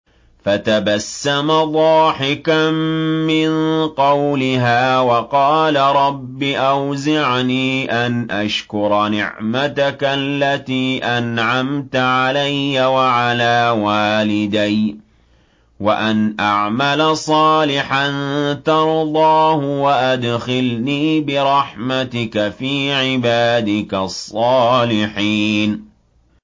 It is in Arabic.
فَتَبَسَّمَ ضَاحِكًا مِّن قَوْلِهَا وَقَالَ رَبِّ أَوْزِعْنِي أَنْ أَشْكُرَ نِعْمَتَكَ الَّتِي أَنْعَمْتَ عَلَيَّ وَعَلَىٰ وَالِدَيَّ وَأَنْ أَعْمَلَ صَالِحًا تَرْضَاهُ وَأَدْخِلْنِي بِرَحْمَتِكَ فِي عِبَادِكَ الصَّالِحِينَ